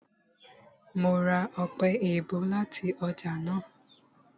Mo ra ọpẹ-èèbó láti ọjà náà